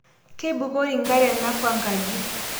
Keibukori nkare nakwaa nkaji